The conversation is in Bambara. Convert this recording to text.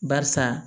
Barisa